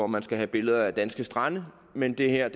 man skal have billeder af danske strande men det her